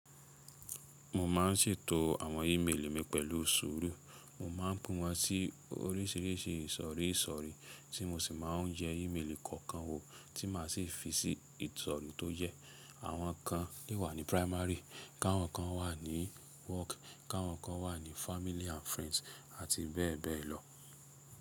Mo ma ń sètò àwọn íméélì mi pẹ̀lú ṣùru. Mo máa ń pin wọ́n sí oríṣìíríṣìí ìsọ̀rísọ̀rí tí mo sì máa ń jẹ íméélì kọ̀ọ̀kan wò tí màá sì fi sí ìsọ̀rí tó jẹ. Àwọn kan le wà ní primary, kàwọ́n kan wà ní work, kàwọ́n kan wà ní family and friends, àti bẹ́ẹ̀ bẹ́ẹ̀ lọ.